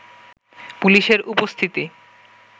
পুলিশের উপস্থিতি